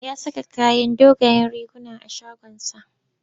Ya saka kayan dogayen riguna a shagonsa.